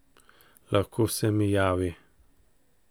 Lahko se mi javi ...